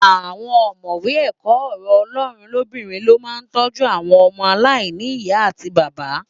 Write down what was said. Àwọn ọ̀mọ̀wé ẹ̀kọ́ ọ̀rọ̀ Ọlọ́run lobinrin lo máà ń tọ́jú àwọn ọmọ aláìní ìyá àti bàbá.